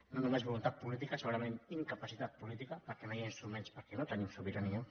no només voluntat política segurament incapacitat política perquè no hi ha instruments perquè no tenim sobirania